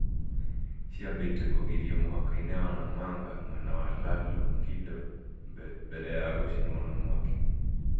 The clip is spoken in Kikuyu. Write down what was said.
ciambĩte kũgirio mũhakainĩ wa Namanga mwena wa la Longido mbele ya gũcinwo na mwaki